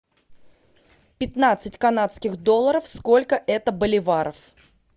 пятнадцать канадских долларов сколько это боливаров